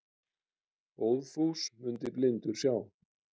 Óðfús mundi blindur sjá.